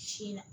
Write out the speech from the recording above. Sin na